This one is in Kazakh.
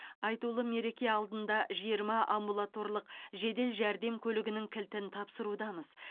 айтулы мереке алдында жиырма амбулаторлық жедел жәрдем көлігінің кілтін тапсырудамыз